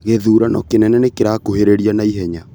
Gĩthurano kĩnene nĩkĩrakuhĩrĩria naihenya